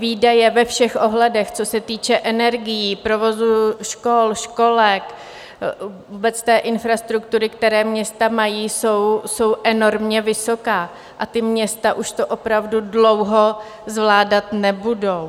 Výdaje ve všech ohledech, co se týče energií, provozu škol, školek, vůbec té infrastruktury, které města mají, jsou enormně vysoké a ta města už to opravdu dlouho zvládat nebudou.